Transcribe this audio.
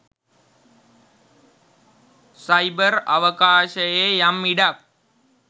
cyber අවකාශයේ යම් ඉඩක්